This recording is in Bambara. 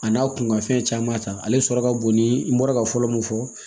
A n'a kun ka fɛn caman ta ale sɔrɔ ka bon ni n bɔra ka fɔlɔ mun fɔ